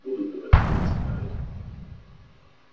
буду пилотировать самолёты